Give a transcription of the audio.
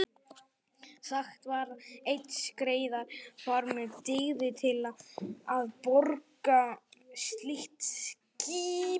Sagt var að einn skreiðarfarmur dygði til að borga slíkt skip.